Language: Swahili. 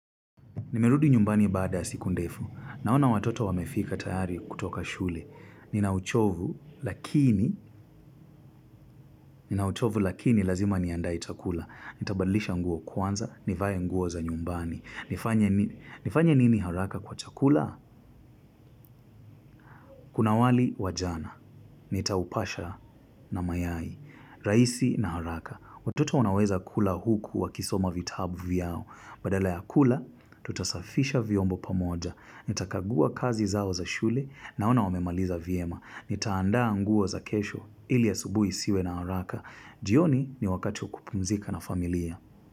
Nimerudi nyumbani baada siku ndefu. Naona watoto wamefika tayari kutoka shule. Nina uchovu lakini, nina uchovu lakini lazima niandae chakula. Nitabadlisha nguo kwanza, nivae nguo za nyumbani. Nifanye nini haraka kwa chakula? Kuna wali wa jana. Nitaupasha na mayai. Raisi na haraka. Watoto wanaweza kula huku wa kisoma vitabu vyao. Badala ya kula, tutasafisha viombo pamoja. Nitakagua kazi zao za shule, naona wamemaliza vyema. Nitaandaa nguo za kesho ili asubuhi isiwe na haraka. Jioni ni wakati wa kupumzika na familia.